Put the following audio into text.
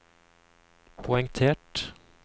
poengtert